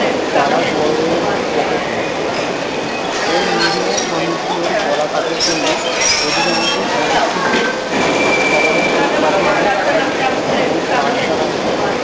তার বড় হয়ে হচ্ছে পকেট মার এবং নিরীহ মানুষ গুলোর গোলা কাটার জন্য অধিকাংশ অন্নার্থ শিশু শহরের টুকটাক মানুষ and এবং কারশালাই নয়